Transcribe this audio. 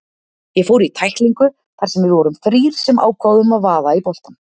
Ég fór í tæklingu þar sem við vorum þrír sem ákváðum að vaða í boltann.